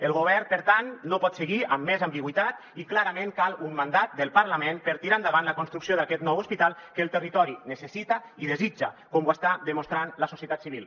el govern per tant no pot seguir amb més ambigüitat i clarament cal un man·dat del parlament per tirar endavant la construcció d’aquest nou hospital que el terri·tori necessita i desitja com ho està demostrant la societat civil